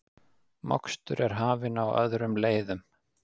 Mokstur er hafin á öðrum leiðum